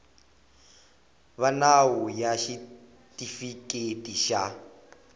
va nawu ya xitifiketi xa